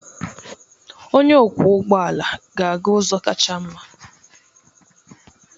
Onye ọkwọ ụgbọ ala ga-aga ụzọ kacha mma.